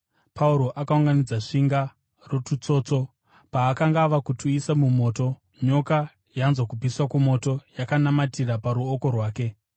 Pauro akaunganidza svinga retutsotso. Paakanga ava kutuisa mumoto, nyoka, yanzwa kupisa kwomoto, yakanamatira paruoko rwake.